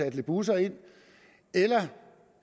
af lidt busser eller